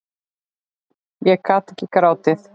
Ég gat ekki grátið.